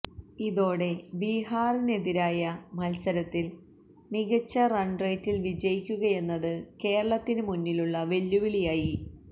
ഇതോടെ ബീഹാറിനെതിരായ മത്സരത്തില് മികച്ച റണ്റേറ്റില് വിജയിക്കുകയെന്നത് കേരളത്തിന് മുന്നിലുള്ള വെല്ലുവിളിയായി